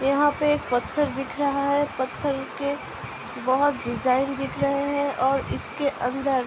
यहां पे एक पत्‍थर दिख रहा है | पत्‍थर के बहुत डिजाईन दिख रहे हैं और इसके अंदर --